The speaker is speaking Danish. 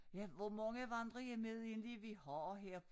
Ja hvor mange vandrehjem er det egentlig vi har her?